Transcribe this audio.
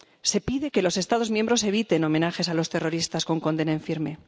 Se pide que los Estados miembros eviten homenajes a los terroristas con condena en firme.